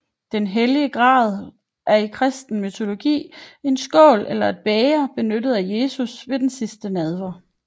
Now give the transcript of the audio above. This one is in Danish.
Den hellige gral er i kristen mytologi en skål eller et bæger benyttet af Jesus ved den sidste nadver